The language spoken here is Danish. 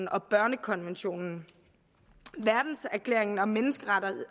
og børnekonventionen verdenserklæringen om menneskerettigheder